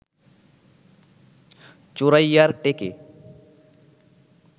চোরাইয়ার টেকে